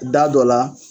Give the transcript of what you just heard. Da dɔ la